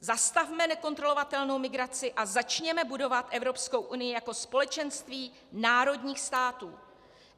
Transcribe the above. Zastavme nekontrolovatelnou migraci a začněme budovat Evropskou unii jako společenství národních států.